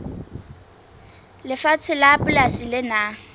lefatshe la polasi le nang